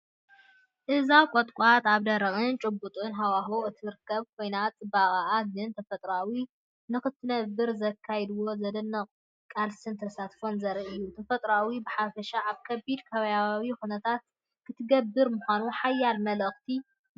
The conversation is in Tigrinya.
እዛ ቁጥቋጥ ኣብ ደረቕን ጭቡጥን ሃዋህው እትርከብ ኮይና፡ ጽባቐኣ ግን ተፈጥሮ ንኽትነብር ዘካይድዎ ዘደንቕ ቃልስን ተስፋን ዘርኢ እዩ! ተፈጥሮ ብሓፈሻ ኣብ ከቢድ ከባብያዊ ኩነታት ክትነብር ምዃና ሓያል መልእኽቲ ይሰድድ።